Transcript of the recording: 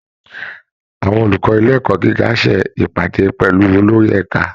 Àwọn olùkọ́ ilé ẹ̀kọ́ gíga á ṣe ìpàdé pẹ̀lú olórí ẹ̀ka